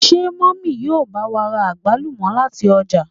Ṣe mummy yíò ba wa ra agbalumo lati ọja?